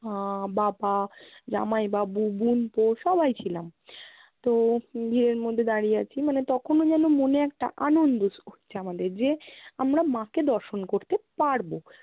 আহ বাবা, জামাইবাবু, বোনপো সবাই ছিলাম। তো ভিড়ের মধ্যে দাঁড়িয়ে আছি। মানে তখনও যেনো মনে একটা আনন্দ হ~ হচ্ছে আমাদের যে আমরা মাকে দর্শন করতে পারবো।